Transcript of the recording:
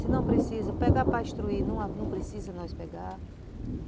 Se não precisa, pega para instruir, não precisa nós pegar.